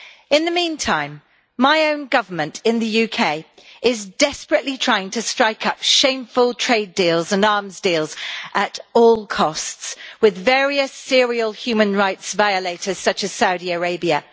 In the meantime, my own government in the UK is desperately trying to strike up shameful trade deals and arms deals at all costs with various serial human rights violators, such as Saudi Arabia.